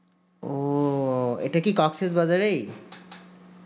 ও ইটা কি ককসেস বাজারেই